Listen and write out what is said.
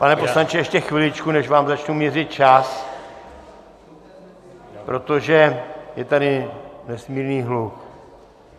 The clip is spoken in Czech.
Pane poslanče, ještě chviličku, než vám začnu měřit čas, protože je tady nesmírný hluk.